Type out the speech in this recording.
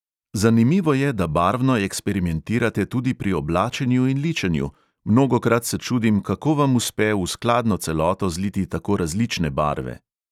Zanimivo je, da barvno eksperimentirate tudi pri oblačenju in ličenju: mnogokrat se čudim, kako vam uspe v skladno s celoto zliti tako različne barve.